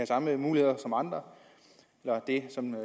samme muligheder som andre det samme